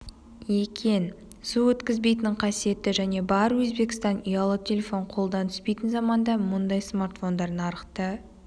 екен су өткізбейтін қасиеті және бар өзбекстан ұялы телефон қолдан түспейтін заманда мұндай смартфондар нарықты